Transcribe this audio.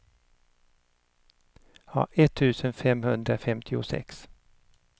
etttusen femhundrafemtiosex